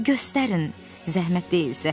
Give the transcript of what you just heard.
Göstərin, zəhmət olmasa.